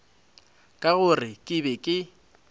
ka gore ke be ke